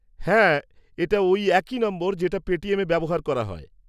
হ্যাঁ এটা ওই একই নম্বর যেটা পেটিএমে ব্যবহার করা হয়।